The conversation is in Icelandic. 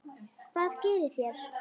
Hvað gerið þér?